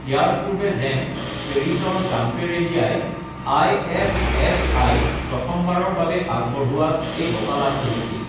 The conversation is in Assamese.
ইয়াৰ পূৰ্বে জেমছ পেৰিছৰ গাম্পেৰেলিয়াই আইএফএফআই ত প্ৰথম বাৰৰ বাবে আগবঢো়ৱা এই বঁটা লাভ কৰিছিল।